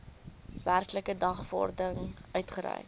werklike dagvaarding uitgereik